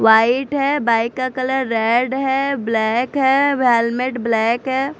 White है bike का colour red है ब्लैक है हेलमेट ब्लैक है।